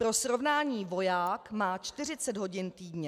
Pro srovnání, voják má 40 hodin týdně.